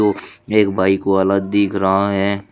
एक बाइक वाला दिख रहा है।